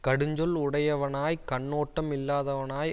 கடுஞ்சொல் உடையவனாய்க் கண்ணோட்டம் இல்லாதவனாய்